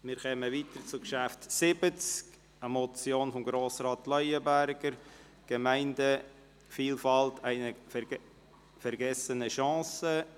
Wir kommen zum Traktandum 70, der Motion von Grossrat Leuenberger, «Gemeindevielfalt – eine vergessene Chance».